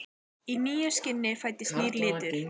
Í nýju skini fæðist nýr litur.